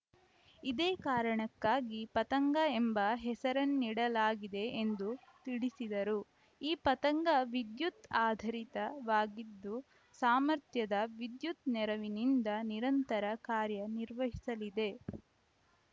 ಇದೇ ಕಾರಣಕ್ಕಾಗಿ ಪತಂಗ ಎಂಬ ಹೆಸರನ್ನಿಡಲಾಗಿದೆ ಎಂದು ತಿಳಿಸಿದರು ಈ ಪತಂಗವಿದ್ಯುತ್‌ ಆಧಾರಿತವಾಗಿದ್ದು ಸಾಮರ್ಥ್ಯದ ವಿದ್ಯುತ್‌ ನೆರವಿನಿಂದ ನಿರಂತರ ಕಾರ್ಯ ನಿರ್ವಹಿಸಲಿದೆ